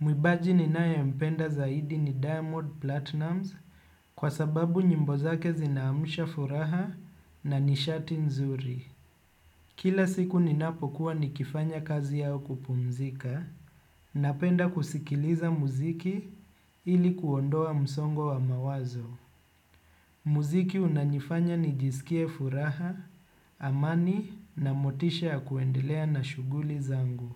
Mwimbaji ninaye mpenda zaidi ni Diamond Platinums kwa sababu nyimbo zake zinaamsha furaha na nishati nzuri. Kila siku ninapokua nikifanya kazi au kupumzika napenda kusikiliza muziki ili kuondoa msongo wa mawazo. Muziki unanifanya nijisikie furaha, amani na motisha ya kuendelea na shughuli zangu.